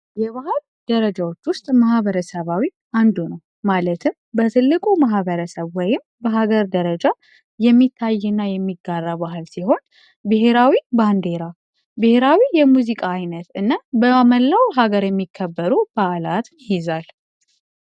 የባህል ደረጃዎች ውስጥ መሐበረሰባዊ አንዱ ነው ማለትም በትልቁ መህበረ ሰብ ወይም በሀገር ደረጃ የሚታይና የሚጋራ ባህል ሲሆን ሔራዊ ባንዴራ ብሔራዊ የሙዚቃ አይነት እና በመላው ሀገር የሚከበሩ በአዕላትን ናቸው፡፡